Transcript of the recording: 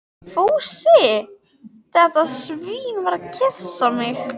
Fúsi, þetta svín, var að kyssa mig.